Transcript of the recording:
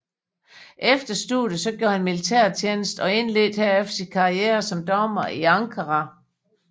Efter studiet gjorde han militærtjeneste og indledte herefter sin karriere som dommer i Ankara